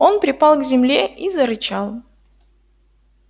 он припал к земле и зарычал